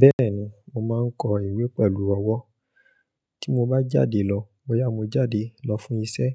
Bẹ́ẹ̀ni, mo máa ń kọ ìwé pẹ̀lú ọwọ́. Tí mo bá jáde lọ, bóyá mo jáde lọ fún iṣẹ́,